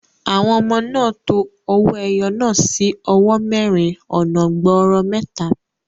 Àwọn ọmọ náà to owó ẹyọ náà sí owó mẹ́rin ọ̀nà gbọọrọ mẹ́ta.